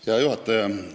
Hea juhataja!